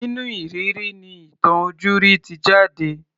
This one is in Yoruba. Nínú ìrírí ni ìtàn ojúrí ti jáde.